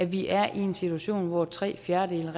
vi er i en situation hvor tre fjerdedele mig